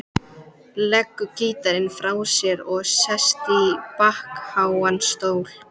Leggur gítarinn frá sér og sest í bakháan stól.